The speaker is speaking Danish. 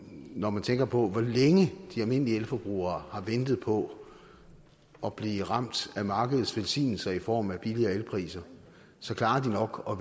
når man tænker på hvor længe de almindelige elforbrugere har ventet på at blive ramt af markedets velsignelser i form af billigere elpriser så klarer de nok at